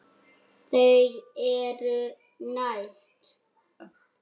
Þau eru næst.